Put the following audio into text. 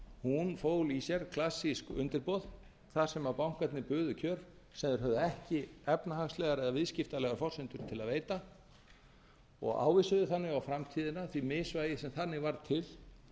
hún fól í sér klassísk undirboð þar sem bankarnir buðu kjör sem þeir höfðu ekki efnahagslegar eða viðskiptalegar forsendur til að veita og ávísuðu þannig á framtíðina því misvægi sem þannig var til